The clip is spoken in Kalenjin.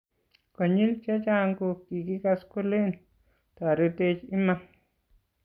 Konyil chechang ko kikikas kolen, toretech iman,